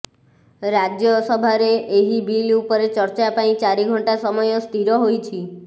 ରାଜ୍ୟସଭାରେ ଏହି ବିଲ ଉପରେ ଚର୍ଚା ପାଇଁ ଚାରି ଘଂଟା ସମୟ ସ୍ଥିର ହୋଇଛି